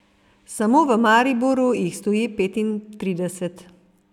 Samo v Mariboru jih stoji petintrideset.